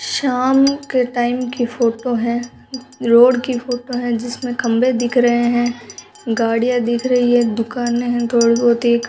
शाम के टाइम की फोटो है रोड की फोटो है जिसमें खंभे दिख रहे हैं गाडियां दिख रही है दुकानें हैं थोड़ी बहुत एक --